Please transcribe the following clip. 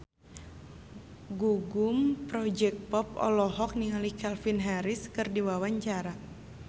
Gugum Project Pop olohok ningali Calvin Harris keur diwawancara